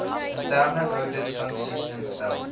interne ouditfunksie instel